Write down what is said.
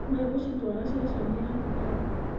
Megũcitwara ceceni-inĩ ya thigari.